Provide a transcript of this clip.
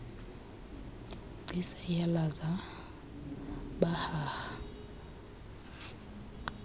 gcis iyazala pahaha